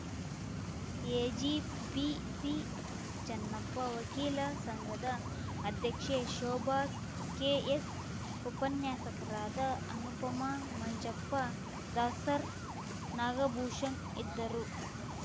EGP ಸಿಚನ್ನಪ್ಪ ವಕೀಲ ಸಂಘದ ಉಪಾಧ್ಯಕ್ಷೆ ಶೋಭ ಕೆಎಸ್‌ ಉಪನ್ಯಾಸಕರಾದ ಅನುಪಮಾ ಮಂಜಪ್ಪ ದಾಸರ್‌ ನಾಗಭೂಷಣ್‌ ಇದ್ದರು